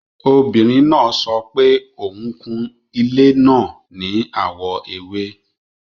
Obìrín náà sọ̀pẹ̀ ọun kún ilẹ̀ náà ní awọ èwè